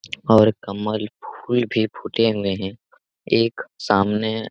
और कमल फूल भी फूटे हुए है एक सामने--